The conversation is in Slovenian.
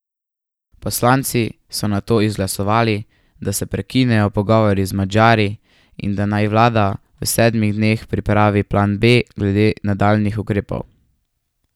Poslanci so nato izglasovali, da se prekinejo pogovori z Madžari in da naj vlada v sedmih dneh pripravi plan B glede nadaljnjih ukrepov.